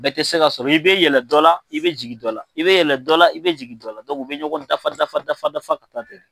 Bɛɛ tɛ se ka sɔrɔ i bɛ yɛlɛ dɔ la i bɛ jigin dɔ la i bɛ yɛlɛ dɔ la i bɛ jigin dɔ la u bɛ ɲɔgɔn dafa dafa dafa dafa ka taa ten.